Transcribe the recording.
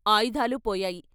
ఆయుధాలూ పోయాయి.